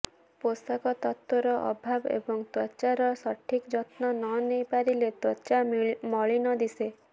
ପୋଷକ ତତ୍ତ୍ୱର ଅଭାବ ଏବଂ ତ୍ୱଚାର ସଠିକ୍ ଯତ୍ନ ନ ନେଇପାରିଲେ ତ୍ୱଚା ମଳିନ ଦିଶେ